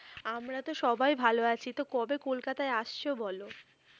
আমরা তো সবাই ভাল আছি তো কবে কলকাতায় আসছ বলো?